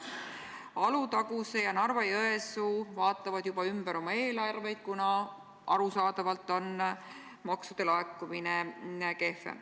Alutaguse ja Narva-Jõesuu vaatavad juba üle oma eelarveid, kuna arusaadavalt on maksude laekumine kehvem.